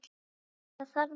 Það þarf að gera.